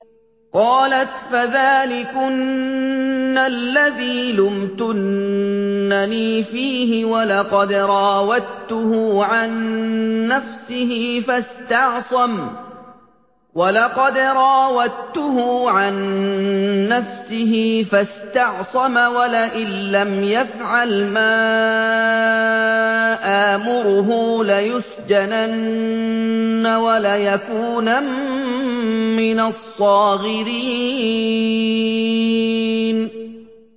قَالَتْ فَذَٰلِكُنَّ الَّذِي لُمْتُنَّنِي فِيهِ ۖ وَلَقَدْ رَاوَدتُّهُ عَن نَّفْسِهِ فَاسْتَعْصَمَ ۖ وَلَئِن لَّمْ يَفْعَلْ مَا آمُرُهُ لَيُسْجَنَنَّ وَلَيَكُونًا مِّنَ الصَّاغِرِينَ